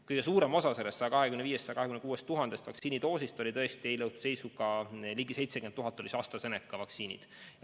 Kõige suurema osa sellest 125 000 – 126 000 vaktsiinidoosist moodustasid eile õhtu seisuga ligi 70 000 doosi AstraZeneca vaktsiini.